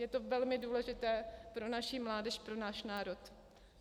Je to velmi důležité pro naši mládež, pro náš národ.